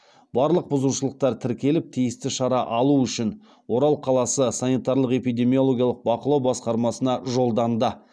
барлық бұзушылықтар тіркеліп тиісті шара алу үшін орал қаласы санитарлық эпидемиологиялық бақылау басқармасына жолданды